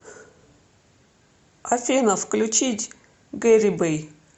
афина включить гэрибэй